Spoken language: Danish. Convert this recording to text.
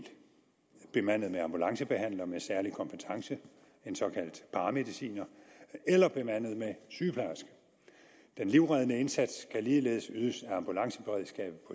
bemandet med ambulancebehandler med særlig kompetence en såkaldt paramediciner eller bemandet med sygeplejerske den livreddende indsats kan ligeledes ydes af ambulanceberedskabet